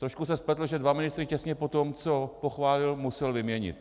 Trošku se spletl, že dva ministry těsně poté, co je pochválil, musel vyměnit.